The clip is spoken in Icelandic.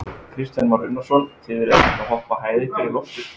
Kristján Már Unnarsson: Þið eruð ekkert að hoppa hæð ykkar í loft upp?